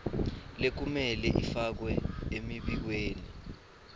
lekumele ifakwe emibikweni